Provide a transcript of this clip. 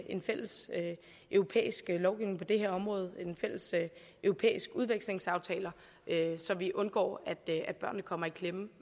en fælles europæisk lovgivning på det her område en fælles europæisk udvekslingsaftale så vi undgår at børnene kommer i klemme